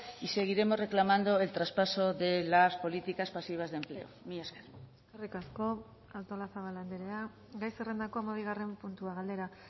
y seguiremos reclamando el traspaso de las políticas pasivas de empleo mila esker eskerrik asko artolazabal andrea gai zerrendako hamabigarren puntua galdera